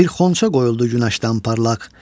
Bir xonça qoyuldu günəşdən parlaq.